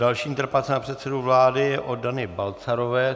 Další interpelace na předsedu vlády je od Dany Balcarové.